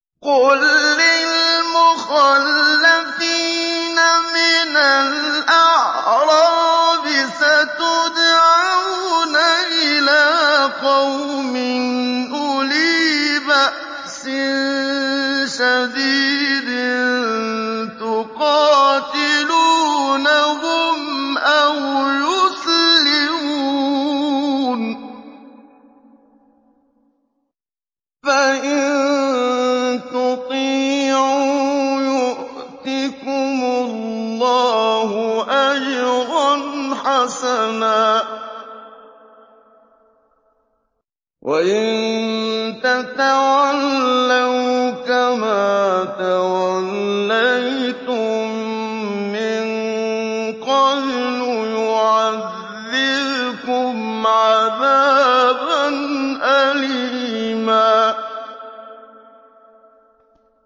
قُل لِّلْمُخَلَّفِينَ مِنَ الْأَعْرَابِ سَتُدْعَوْنَ إِلَىٰ قَوْمٍ أُولِي بَأْسٍ شَدِيدٍ تُقَاتِلُونَهُمْ أَوْ يُسْلِمُونَ ۖ فَإِن تُطِيعُوا يُؤْتِكُمُ اللَّهُ أَجْرًا حَسَنًا ۖ وَإِن تَتَوَلَّوْا كَمَا تَوَلَّيْتُم مِّن قَبْلُ يُعَذِّبْكُمْ عَذَابًا أَلِيمًا